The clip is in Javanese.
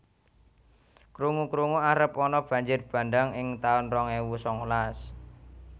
Krungu krungu arep ana banjir bandhang ing taun rong ewu sangalas